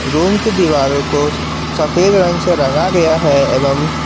room की दीवारों को सफेद रंग से रंगा गया है एवं --